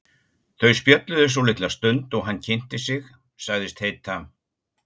Þau spjölluðu svolitla stund og hann kynnti sig, sagðist heita